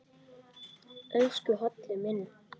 Elsku Halli minn.